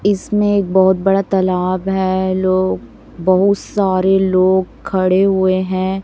इसमें एक बहोत बड़ा तालाब है लोग बहुत सारे लोग खड़े हुए हैं।